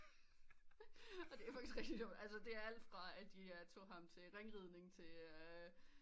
Og det er faktisk rigtigt sjovt altså det er alt fra at de tog ham til ringridning til øh